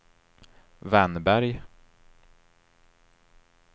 Wennberg